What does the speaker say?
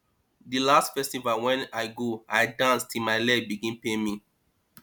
di last festival wey i go i dance till my leg begin pain me